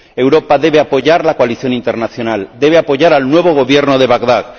Europa debe apoyar la coalición internacional, debe apoyar al nuevo Gobierno de Bagdad.